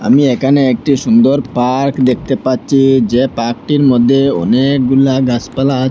আমি এখানে একটি সুন্দর পার্ক দেখতে পাচ্ছি যে পার্ক -টির মধ্যে অনেকগুলা গাছপালা আচ --